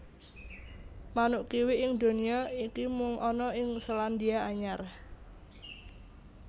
Manuk kiwi ing donya iki mung ana ing Selandia Anyar